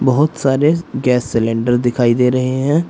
बहुत सारे gas cylinder दिखाई दे रहे हैं।